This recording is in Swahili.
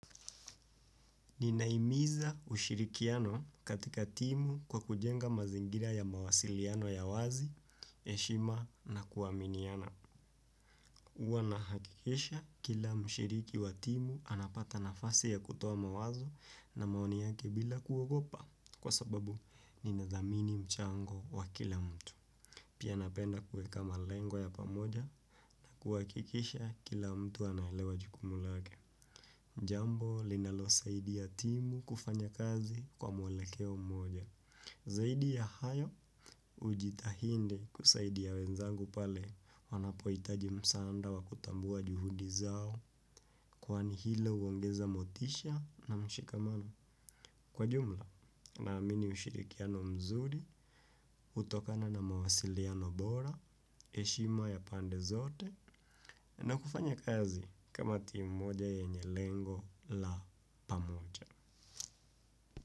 Ninahimiza ushirikiano katika timu kwa kujenga mazingira ya mawasiliano ya wazi, heshima na kuaminiana. Huwa nahakikisha kila mshiriki wa timu anapata nafasi ya kutoa mawazo na maoni yake bila kuogopa kwa sababu ninadhamini mchango wa kila mtu. Pia napenda kuweka malengo ya pamoja kuhakikisha kila mtu anaelewa jukumu lake. Jambo linalosaidia timu kufanya kazi kwa mwelekeo mmoja. Zaidi ya hayo hujitahidi kusaidia wenzangu pale wanapohitaji msaada wa kutambua juhudi zao kwani hilo huaongeza motisha na mshikamano. Kwa jumla, naamini ushirikiano mzuri hutokana na mawasiliano bora, heshima ya pande zote, na kufanya kazi kama timu moja yenye lengo la pamoja.